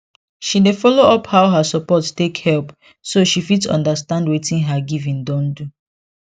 she dey follow up how her support take help so she fit understand wetin her giving don do